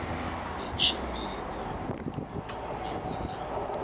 i tshimbidza u thomiwa na